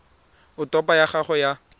a topo ya gago ya